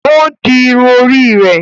O n di irun orí rẹ